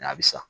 N'a bɛ sa